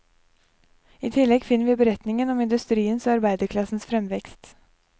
I tillegg finner vi beretningen om industriens og arbeiderklassens fremvekst.